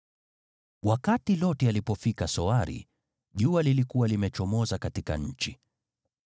Wakati Loti alipofika Soari, jua lilikuwa limechomoza katika nchi.